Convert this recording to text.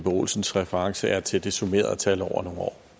olsens reference er til det summerede tal over nogle år